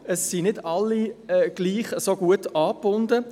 Es sind aber nicht alle so gut an den ÖV angebunden.